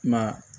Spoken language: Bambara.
Ma